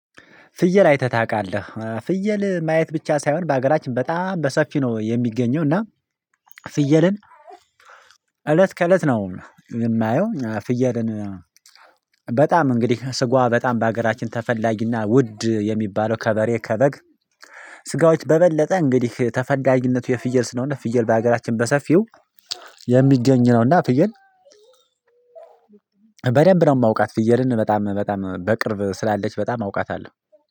ፍየል አይተህ ታውቃለህ? ፍየል ማየት ብቻ ሳይሆን በሀገራችን በጣም በሰፊ ነው የሚገኘው እና ፍየልን እለት ከእለት ነው፣ የማየው ፍየልን በጣም እንግዲህ ስጋዋ በጣም በሀገራችን ተፈላጊና ውድ የሚባለው ከበሬ ከበግ፣ ስጋዎች በበለጠ እንግዲህ ተፈላጊነቱ የፍየል ስነሆነት ፍየል በሀገራችን በሰፊው የሚገኝ ነውና ፍየል በደንብ ነው የማውቃት፣ ፍየልን በጣም በጣም፣ በቅርብ ስላለች በጣም አውቃታለሁ።